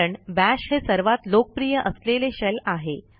कारण बाश हे सर्वात लोकप्रिय असलेले शेल आहे